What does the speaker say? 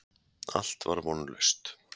Allt var vonlaust.